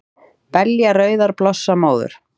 Belja rauðar blossa móður,